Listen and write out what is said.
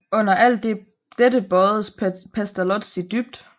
Under alt dette bøjedes Pestalozzi dybt